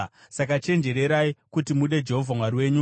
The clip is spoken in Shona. Saka chenjererai kuti mude Jehovha Mwari wenyu.